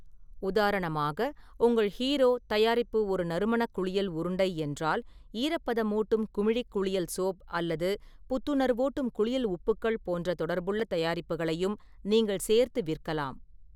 உதாரணமாக, உங்கள் ஹீரோ தயாரிப்பு ஒரு நறுமணக் குளியல் உருண்டை என்றால், ஈரப்பதமூட்டும் குமிழிக் குளியல் சோப் அல்லது புத்துணர்வூட்டும் குளியல் உப்புக்கள் போன்ற தொடர்புள்ள தயாரிப்புகளையும் நீங்கள் சேர்த்து விற்கலாம்.